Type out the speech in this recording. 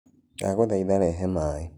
Ndagũthaĩtha rehe maĩ.